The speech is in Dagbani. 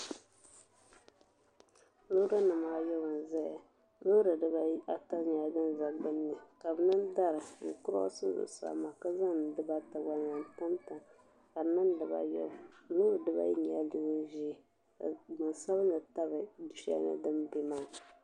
Loori nima ayi n zaya loori dibaata nyɛla din za gbinni ka bɛ niŋ dari n kuroosi zuɣusaa maa ka zaŋ dibaata gba n tam tam ka di niŋ dibaa ayobu loori dibaayi nyɛla din ʒia ka bin sabinli tabi du'shelini din be maa.